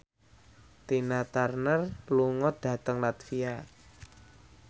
Tina Turner lunga dhateng latvia